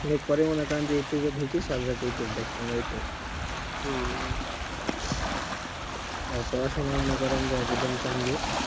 এই যে মনে করেন যে youtube ঢুকি সারারাত youtube দ্যাখো এই তো হম আর পড়াশোনা মনে করেন যে একদম